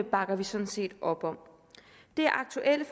bakker vi sådan set op om det aktuelle